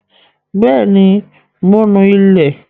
Bẹ́ẹ̀ ní, mò ń nú ilẹ̀.